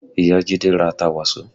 Ìyá Jide ra ata Waso